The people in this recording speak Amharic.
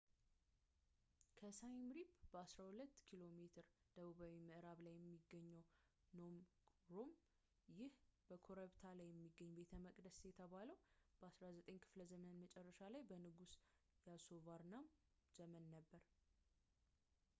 ከsiem reap በ12ኪሜ ደቡባዊ ምዕራብ ላይ የሚገኘው phnom krom። ይህ በኮረብታ ላይ የሚገኝ ቤተመቅደስ የተገነባው በ9ኛው ክፍለ ዘመን መጨረሻ ላይ በንጉስ yasovarman ዘመን ነበር